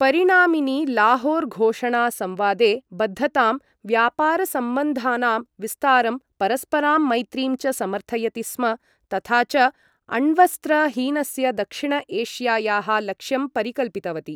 परिणामिनी लाहोर् घोषणा, संवादे बद्धतां, व्यापारसम्बन्धानां विस्तारं, परस्परां मैत्रीं च समर्थयति स्म तथा च अण्वस्त्रहीनस्य दक्षिण एष्यायाः लक्ष्यं परिकल्पितवती।